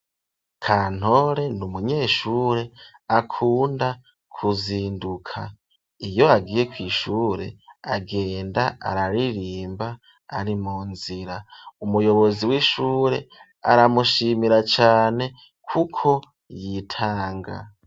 Kantore, n’umunyeshure, akunda kuzinduka; iyo agiye kw'ishure, agenda araririmba, ari mu nzira; umuyobozi w'ishure, aramushimira cane, kuko yitanga.